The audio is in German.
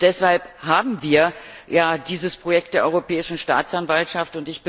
Deshalb haben wir ja dieses Projekt der Europäischen Staatsanwaltschaft.